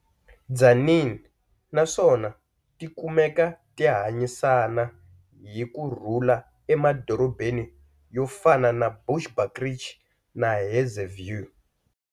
Tzaneen na swona tikumeka ti hanyisana hi kurhula emadorobeni yo fana na Bushbuckridge na Hazyview.